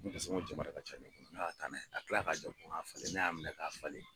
Ne ka so ko jamara ka ca ne bolo ne ka taa n'a ye a tila ka jɛ ko a falen ne y'a minɛ k'a falen